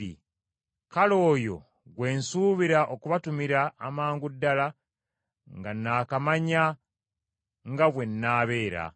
Kale oyo gwe nsuubira okubatumira amangu ddala nga naakamanya nga bwe nnaabeera.